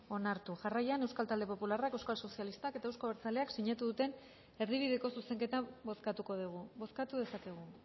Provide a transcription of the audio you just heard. onartu jarraian euskal talde popularrak euskal sozialistak eta eusko abertzaleak sinatu duten erdibideko zuzenketa bozkatuko dugu bozkatu dezakegu